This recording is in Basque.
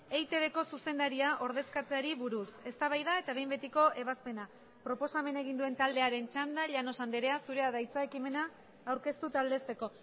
eitbko zuzendaria ordezkatzeari buruz eztabaida eta behin betiko ebazpena proposamena egin duen taldearen txanda llanos andrea zurea da hitza ekimena aurkeztu eta aldezteko